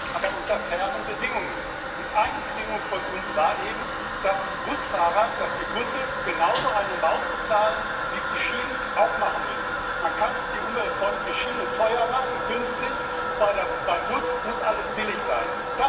Das stimmt, aber unter fairen Bedingungen, und eine Bedingung von uns war eben, dass die Busfahrer, dass die Busse genauso eine Maut bezahlen, wie es die Schienen auch machen müssen. Man kann nicht die umweltfreundliche Schiene teuer machen künstlich und beim Bus muss alles billig sein.